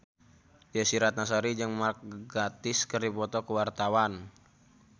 Desy Ratnasari jeung Mark Gatiss keur dipoto ku wartawan